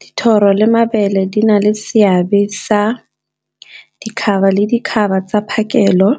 Dithoro le mabele di na le seabe sa tsa phakelo,